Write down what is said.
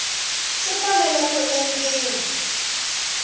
swi fanele ku endliwa ku